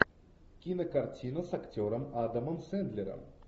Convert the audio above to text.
кинокартина с актером адамом сэндлером